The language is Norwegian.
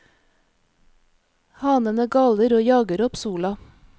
Hanene galer og jager opp sola.